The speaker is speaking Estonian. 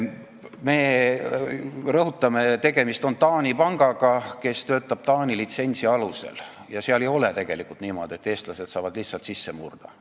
Me rõhutame, et tegemist on Taani pangaga, kes töötab Taani litsentsi alusel, ja ei ole tegelikult niimoodi, et eestlased saavad sinna lihtsalt sisse murda.